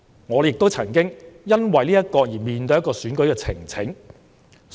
我也曾經因此要面對選舉呈請。